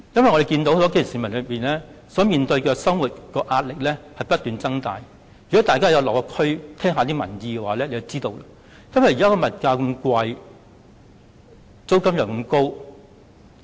我們看到基層市民面對的生活壓力正不斷增加，如果大家有落區，有聽過民意，便知現時的物價高、租金也高昂。